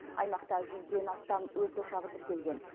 аймақта жүзден астам өрт ошағы тіркелген